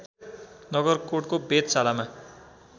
नगरकोटको वेधशालामा